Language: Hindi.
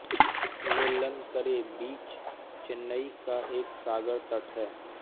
नेल्लनकरै बीच चेन्नई का एक सागर तट है